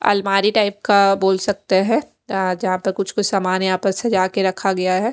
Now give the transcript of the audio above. अलमारी टाइप का बोल सकते है अ जहाँ पर कुछ कुछ सामान यहाँ पर सजाकर रखा गया है।